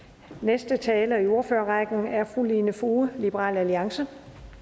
den næste taler i ordførerrækken er fru lene foged liberal alliance